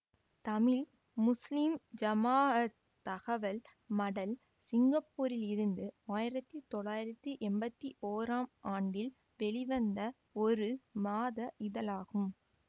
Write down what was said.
Tamil Muslim Jamaat தகவல் மடல் சிங்கப்பூரிலிருந்து ஆயிரத்தி தொள்ளாயிரத்தி எம்பத்தி ஒறாம் ஆண்டில் வெளிவந்த ஒரு மாத இதழாகும்